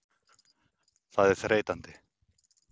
Það er þreytandi.